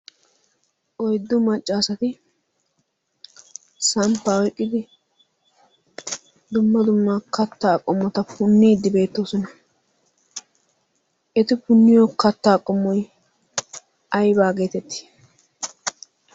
Oyddu maccaasati samppaa oyqqidi dumma dumma kattaa qomota punniiddi beettoosona. Eti punniyo kattaa qomoy aybaa geetettii?